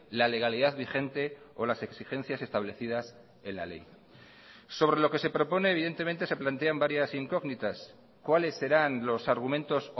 la legalidad vigente o las exigencias establecidas en la ley sobre lo que se propone evidentemente se plantean varias incógnitas cuáles serán los argumentos